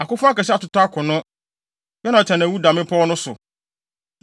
“Akofo akɛse atotɔ akono. Yonatan awu da mmepɔw no so.